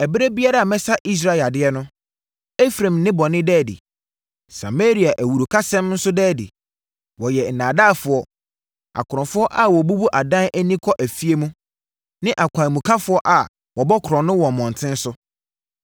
ɛberɛ biara a mɛsa Israel yadeɛ no, Efraim nnebɔne da adi. Samaria awurukasɛm nso daa adi. Wɔyɛ nnaadaafoɔ akorɔmfoɔ a wɔbubu adan ani kɔ afie mu, ne akwanmukafoɔ a wɔbɔ korɔno wɔ mmɔntene so.